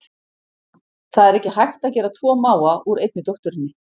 Það er ekki hægt að gera tvo mága úr einni dótturinni.